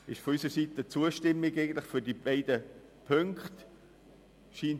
Deshalb stimmen wir beiden Punkten zu.